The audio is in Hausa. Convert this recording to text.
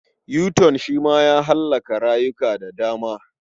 Yuton shi ma ya hallaka rayuka da dama.